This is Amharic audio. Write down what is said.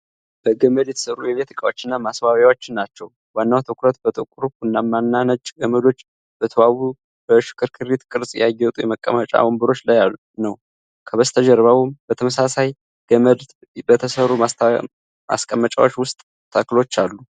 በገመድ የተሰሩ የቤት እቃዎችንና ማስዋቢያዎችን ናቸው። ዋናው ትኩረት በጥቁር፣ ቡናማና ነጭ ገመዶች በተዋቡ በሽክርክሪት ቅርፅ ያጌጡ የመቀመጫ ወንበሮች ላይ ነው። ከበስተጀርባም በተመሳሳይ ገመድ በተሰሩ ማስቀመጫዎች ውስጥ ተክሎች አሉ።